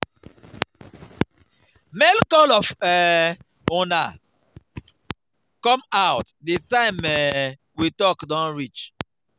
make all of um una come out the time um we talk don reach